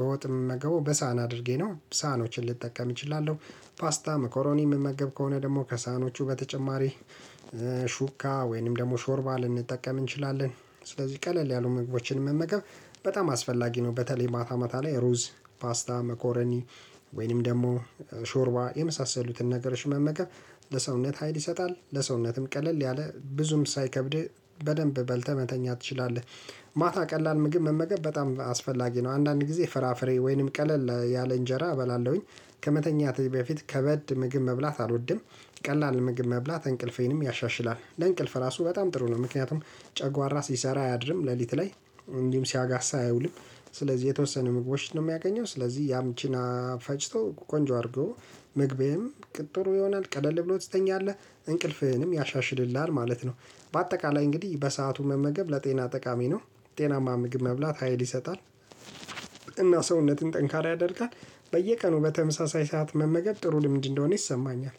በወጥም ምመገበው በሳህን አድርጌ ነው ሳኖችን ልጠቀም እችላለሁ። ፓስታ መኮሮኒ የምመገብ ከሆነ ደግሞ ከሳህኖቹ በተጨማሪ ሹካ ሹካ ወይንም ደግሞ ሾርባ ልንጠቀም እንችላለን ስለዚህ ቀለል ያሉ ምግቦችን መመገብ በጣም አስፈላጊ ነው በተለይ ማታ ማታ ላይ ሩዝ ፓስታ መኮረኒ ወይንም ደግሞ ሾርባ የመሳሰሉትን ነገር መመገብ ለሰውነት ሀይል ይሰጣል፣ ለሰውነትም ቀለል ያለ ብዙም ሳይከብድ በደንብ በልተህ መተኛት ትችላለህ። ቀላል ምግብ መመገብ በጣም አስፈላጊ ነው አንዳንድ ጊዜ ፍራፍሬ ወይንም ቀለል ያለ እንጀራ እበላለሁኝ ከመተኛቴ በፊት ከበድ ምግብ መብላት አልወድም። ቀላል ምግብ መብላት እንቅልፌንም ያሻሽላል ለእንቅልፍ ራሱ በጣም ጥሩ ነው ምክንያቱም ጨጓራ ሲሰራ አያድርም ሌሊት ላይ እንዲሁም ሲያጋሳ አያውልም ስለዚህ የተወሰነ ምግቦችን ነው የሚያገኘው ስለዚህ ያም ፈጭቶ ቆንጆ አድርጎ ምግቤም እንቅልፍ ጥሩ ይሆናል ቀደል ብሎ ትሰጠኛለህ እንቅልፍህንም ያሻሽልልሃል ማለት ነው። በአጠቃላይ እንግዲህ በሰአቱ መመገብ ለጤና ጠቃሚ ነው ጤናማ ምግብ መብላት ሀይል ይሰጣል እና ሰውነትን ጠንካራ ያደርጋል፣ በየቀኑ በተመሳሳይ ሰዓት መመገብ ጥሩ ልምድ እንደሆነ ይሰማኛል።